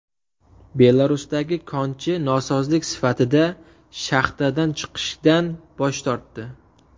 Belarusdagi konchi norozilik sifatida shaxtadan chiqishdan bosh tortdi.